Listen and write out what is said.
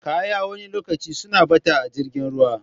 Kaya wani lokacin suna ɓata a jirgin ruwa